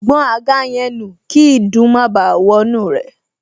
Gbọn àga yẹn nù kí ìdun má báà wọnú rẹ̀